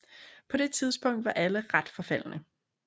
På det tidspunkt var alle ret forfaldne